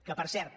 que per cert